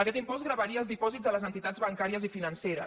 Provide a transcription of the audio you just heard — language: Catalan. aquest impost gravaria els dipòsits de les entitats bancàries i financeres